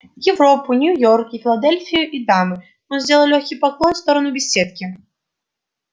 европу нью-йорк и филадельфию и дамы он сделал лёгкий поклон в сторону беседки